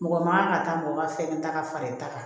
Mɔgɔ man kan ka taa mɔgɔ ka fɛn ta ka fara i ta kan